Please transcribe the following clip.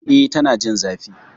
E, Tana jin zafi